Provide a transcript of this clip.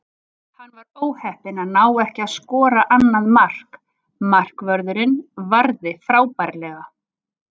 Hann var óheppinn að ná ekki að skora annað mark, markvörðurinn varði frábærlega.